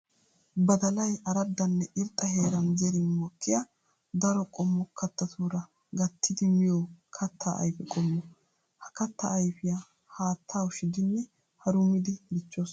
Badallay araddanne irxxa heeran zerin mokkiya daro qommo kattatura gattiddi miyo katta ayfe qommo. Ha katta ayfiya haatta ushidinne harummidi dichoos.